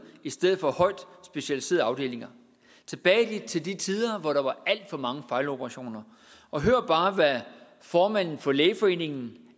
i stedet for højt specialiserede afdelinger tilbage til de tider hvor der var alt for mange fejloperationer og hør bare hvad formanden for lægeforeningen